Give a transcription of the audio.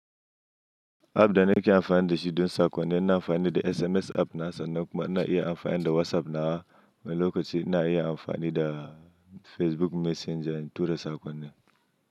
App da nake amfani da shi don saƙonni ina amfani da SMS app na sannan kuma na iya amfani da WhatsApp na. Wani lokaci ina iya amfani da Facebook Messenger in tura saƙonni.